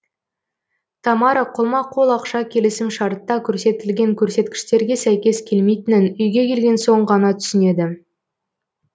тамара қолма қол ақша келісімшартта көрсетілген көрсеткіштерге сәйкес келмейтінін үйге келген соң ғана түсінеді